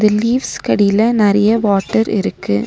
Leafs கடியில நறிய water இருக்கு.